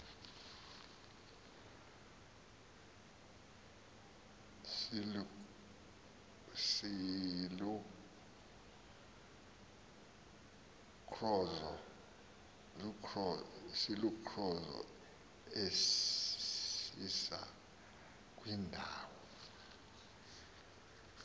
silukrozo esisa kwindawo